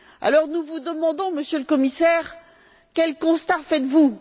Alors, nous vous demandons, Monsieur le Commissaire quel constat faites vous?